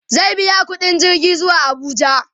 zai biya ƙuɗin jirgi zuwa Abuja